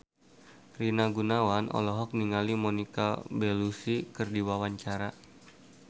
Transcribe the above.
Rina Gunawan olohok ningali Monica Belluci keur diwawancara